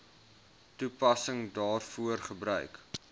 toepassing daarvoor gebruik